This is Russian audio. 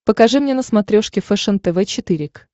покажи мне на смотрешке фэшен тв четыре к